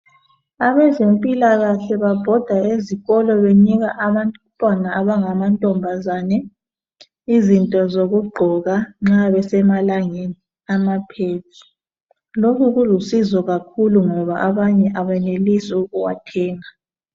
Abezempilakahle babhoda ezikolo benika abantwana abangamantombazane izinto zokugqoka nxa besemalangeni ama"pads".Lokhu kulusizo kakhulu ngoba abanye abenelisi ukuwathenga.